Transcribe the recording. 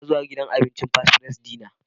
Ina zuwa gidan abincin Fast Fries Dinner.